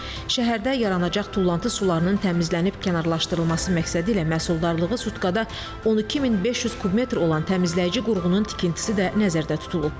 Şəhərdə yaranacaq tullantı sularının təmizlənib kənarlaşdırılması məqsədilə məhsuldarlığı sutkada 12500 kub metr olan təmizləyici qurğunun tikintisi də nəzərdə tutulub.